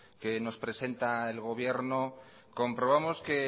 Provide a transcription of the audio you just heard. que nos presenta el gobierno comprobamos que